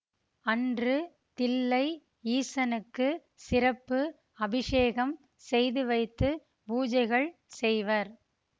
அன்று தில்லை ஈசனுக்கு சிறப்பு அபிஷேகம் செய்துவைத்து பூஜைகள் செய்வர்